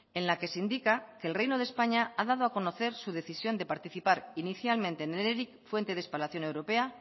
en la que se indica que el reino de españa ha dado a conocer su decisión de participar inicialmente en el eric fuente de espalación europea